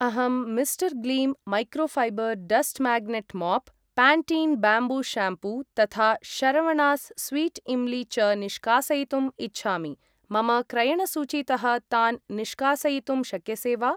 अहं mister gleam microfiber dust magnet mop , Pantene bamboo shampoo तथा Saravanas sweet imli च निष्कासयितुम् इच्छामि, मम क्रयणसूचीतः तान् निष्कासयितुं शक्यसे वा?